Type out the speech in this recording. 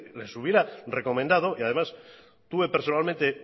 les hubiera recomendado y además tuve personalmente